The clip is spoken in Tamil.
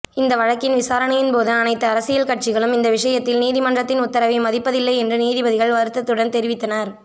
இந்த வழக்கின் விசாரணையின்போது அனைத்து அரசியல் கட்சிகளும் இந்த விஷயத்தில் நீதிமன்றத்தின் உத்தரவை மதிப்பில்லை என்று நீதிபதிகள் வருத்தத்துடன் தெரிவித்தனர்